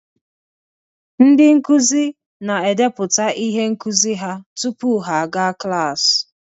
Ndị nkuzi na-edepụta ihe nkuzi ha tupu ha agụọ klaasị